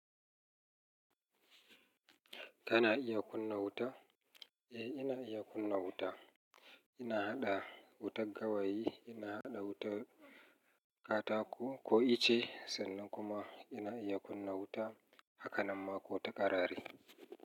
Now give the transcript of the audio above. Kana iya kunna wuta? Eh, ina iya kunna wuta. Ina haɗa wutar gawayi, ina haɗa wuta katako ko icce, sannan kuma ina iya kunna wuta, hakanamma ko ta karare.